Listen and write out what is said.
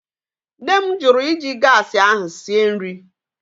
Nne m jụrụ iji gaasị ahụ sie nri.